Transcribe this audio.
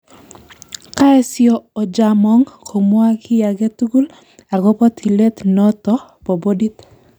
Koesyo Ojaamong komwa ki age tugul agobo tilet noto ba bodit